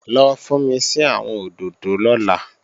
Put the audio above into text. Lọ fúnmi sí àwọn òdòdó lọ́la!